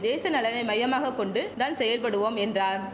தேச நலனை மையமாக கொண்டு தான் செயல்படுவோம் என்றார்